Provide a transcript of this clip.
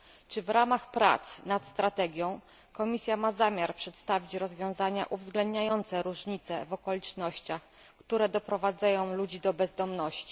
Czy w ramach prac nad strategią Komisja ma zamiar przedstawić rozwiązania uwzględniające różnice w okolicznościach, które doprowadzają ludzi do bezdomności?